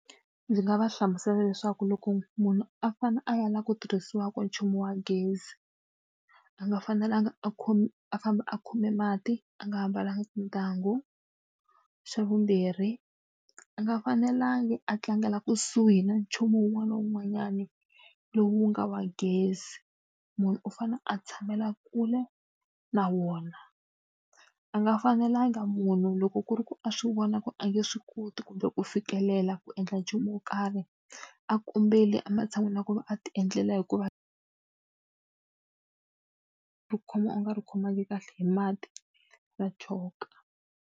Ndzi nga va hlamusela leswaku loko munhu a fanele a lava ku tirhisiwaka nchumu wa gezi, a nga fanelanga a a famba a khome mati a nga ambalanga tintangu. Xa vumbirhi, a nga fanelangi a tlangela kusuhi na nchumu wun'wana na wun'wanyana lowu nga wa gezi, munhu u fanele a tshamela kule na wona. A nga fanelanga munhu loko ku ri ku a swi vona ku a nge swi koti kumbe ku fikelela ku endla nchumu wo karhi, a kombela ematshan'wini na ku va a tiendlela hikuva u khoma u nga ri khomangi kahle hi mati ra choka.